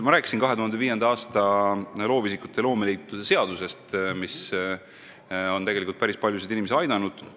Ma rääkisin 2005. aastal vastu võetud loovisikute ja loomeliitude seadusest, mis on tegelikult päris paljusid inimesi aidanud.